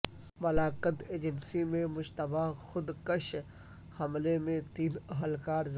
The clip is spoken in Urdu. مالاکنڈ ایجنسی میں مشتبہ خودکش حملے میں تین اہلکار زخمی